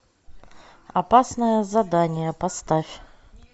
опасное задание поставь